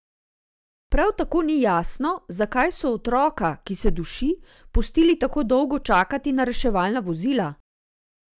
Prav tako ni jasno, zakaj so otroka, ki se duši, pustili tako dolgo čakati na reševalna vozila?